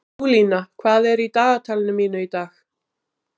Júlína, hvað er í dagatalinu mínu í dag?